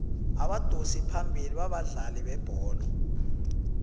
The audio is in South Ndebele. abadosi phambili babadlali bebholo